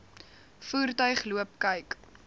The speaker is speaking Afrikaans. voertuig loop kyk